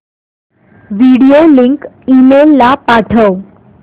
video link email ला पाठव